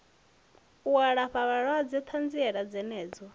u alafha vhalwadze ṱanziela dzenedzo